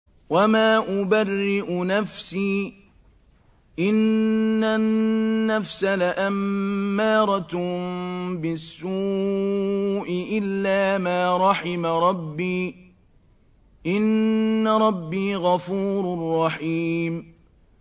۞ وَمَا أُبَرِّئُ نَفْسِي ۚ إِنَّ النَّفْسَ لَأَمَّارَةٌ بِالسُّوءِ إِلَّا مَا رَحِمَ رَبِّي ۚ إِنَّ رَبِّي غَفُورٌ رَّحِيمٌ